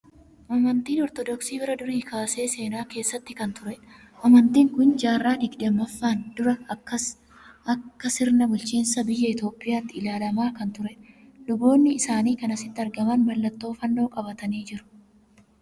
Amantiin Ortoodokaii bara durii irraa kaasee seenaa keessatti kan turedha. Amantiin kun jaarraa digdammaffaan dura akka sirna bulchiinsa biyya Itoophiyaatti ilaalamaa kan turedha. Luboonni isaanii kan asitti argaman mallattoo fannoo qabatanii jiru.